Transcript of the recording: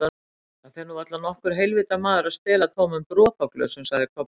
Það fer nú varla nokkur heilvita maður að stela tómum dropaglösum, sagði Kobbi.